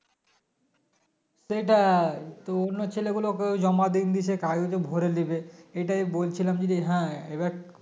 সেটাই তো অন্য ছেলেগুলো ওকে জমা দিয়েছে কাগজে ভোরে নেবে এটাই বলছিলাম যদি হ্যাঁ এবার